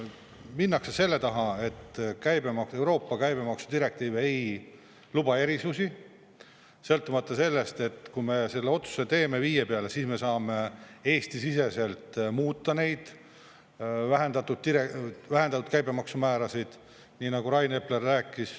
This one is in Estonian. Minnakse selle taha, et Euroopa käibemaksu direktiiv ei luba erisusi, sõltumata sellest, et kui me selle otsuse teeme 5% peale, siis me saame Eesti-siseselt muuta neid vähendatud vähendatud käibemaksumäärasid, nagu Rainer rääkis.